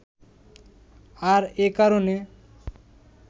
আর এ কারণে